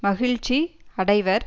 மகிழ்ச்சி அடைவர்